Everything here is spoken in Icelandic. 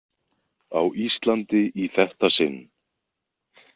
Á Íslandi í þetta sinn.